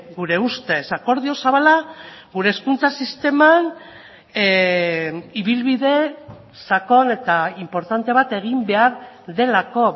gure ustez akordio zabala gure hezkuntza sisteman ibilbide sakon eta inportante bat egin behar delako